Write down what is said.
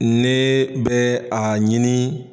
Ne bɛ a ɲini.